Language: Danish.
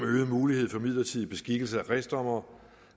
øget mulighed for midlertidig beskikkelse af kredsdommere